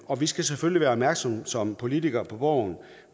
og vi skal selvfølgelig være opmærksomme som politikere på borgen